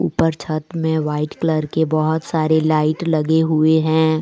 ऊपर छत में वाइट कलर की बहुत सारी लाइट लगी हुई है।